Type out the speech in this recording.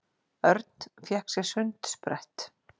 Örn fékk sér sundsprett.